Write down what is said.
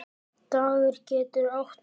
Dagur getur átt við